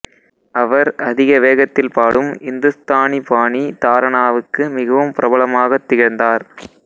அவர் அதிக வேகத்தில் பாடும் இந்துஸ்தானி பாணி தாரனாவுக்கு மிகவும் பிரபலமாகத் திகழ்ந்தார்